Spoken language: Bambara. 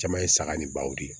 Caman ye saga ni baw de ye